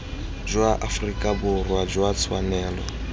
jwa aforika borwa jwa tshwanelo